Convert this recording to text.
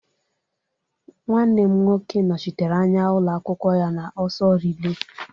Nwanne m nwoke nọchitere anya ụlọ akwụkwọ ya n'ọsọ rilé.